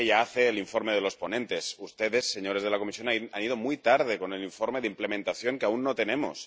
Una que ya hace el informe de los ponentes ustedes, señores de la Comisión, han ido muy tarde con el informe de implementación, que aún no tenemos.